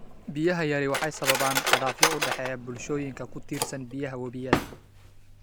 Biyaha yari waxay sababaan khilaafyo u dhexeeya bulshooyinka ku tiirsan biyaha webiyada.